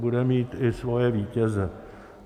Bude mít i svoje vítěze.